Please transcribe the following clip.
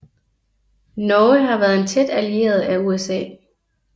Norge har været en tæt allieret af USA